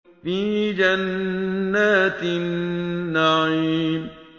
فِي جَنَّاتِ النَّعِيمِ